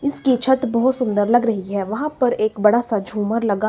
इसकी छत बहुत सुंदर लग रही है। वहां पर एक बड़ासा झूमर लगा--